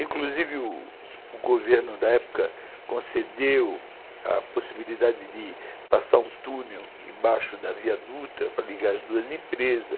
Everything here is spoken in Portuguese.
Inclusive o governo da época concedeu a possibilidade de passar um túnel embaixo da Via Dutra para ligar as duas empresas.